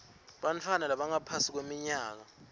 bantfwana labangaphasi kweminyaka